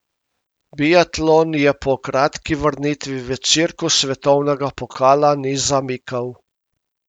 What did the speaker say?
Biatlon je po kratki vrnitvi v cirkus svetovnega pokala ni zamikal.